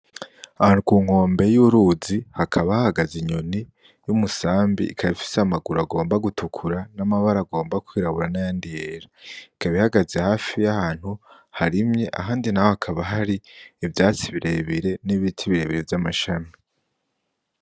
Ahantu ku nkombe y’uruzi hakaba hahagaze inyoni y’umusambi ikaba ifise amaguru agomba gutukura n’amabara agomba kwirabura n’ayandi yera , ikaba ihagaze hafi y’ahantu harimye ahandi naho hakaba hari ivyatsi birebire n’ibiti birebire vy'amashami.